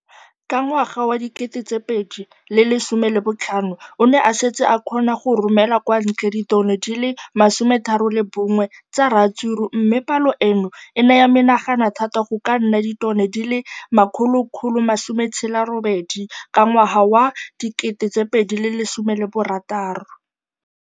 Ka ngwaga wa 2015, o ne a setse a kgona go romela kwa ntle ditone di le 31 tsa ratsuru mme palo eno e ne ya menagana thata go ka nna ditone di le 168 ka ngwaga wa 2016.